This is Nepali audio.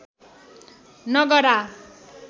नगरा